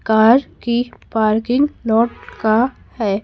Car की parking lot का है।